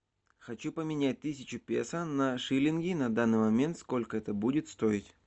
хочу поменять тысячу песо на шиллинги на данный момент сколько это будет стоить